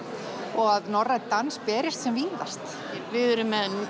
og að norrænn dans berist sem víðast við erum með